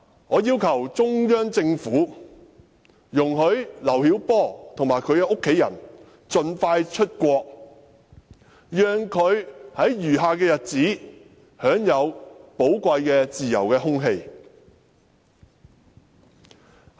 我要求中央政府容許劉曉波及其家人盡快出國，讓他在餘下的日子裏享受寶貴的自由空氣。